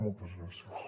moltes gràcies